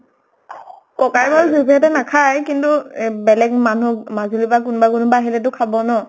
ককায়েকৰ জুবলী হঁতে নাখায় কিন্তু এহ বেলেগ মানুহ্ক মাজুলীৰ পা কোনবা কোনবা আহিলে টো খাব ন?